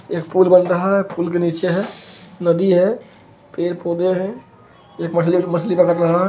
यह पूल बन रहा है पुल के निचे है नदी है पेड़ पोधे हैं एक मछली है मछली का लग रहा है।